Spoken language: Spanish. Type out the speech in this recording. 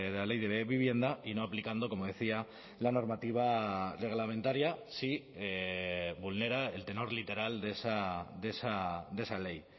la ley de vivienda y no aplicando como decía la normativa reglamentaria si vulnera el tenor literal de esa ley